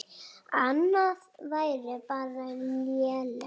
Annað væri bara lélegt.